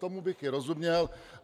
Tomu bych i rozuměl.